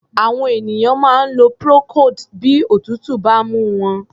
Àwọn ènìyàn máa ń lo procold bí òtútù bá ń mú wọn.